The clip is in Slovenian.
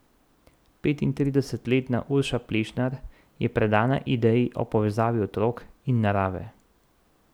Petintridesetletna Urša Plešnar je predana ideji o povezavi otrok in narave.